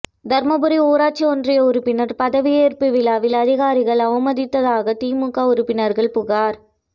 தருமபுரி ஊராட்சி ஒன்றிய உறுப்பினர் பதவியேற்பு விழாவில் அதிகாரிகள் அவமதித்ததாக திமுக உறுப்பினர்கள் புகார்